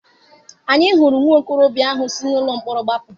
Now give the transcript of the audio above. Anyị hụrụ nwa okorobịa ahụ si n'ụlọ mkpọrọ gbapụ.